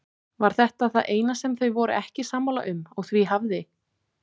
Var þetta það eina sem þau voru ekki sammála um og því hafði